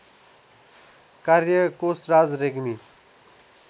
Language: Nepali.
कार्य कोशराज रेग्मी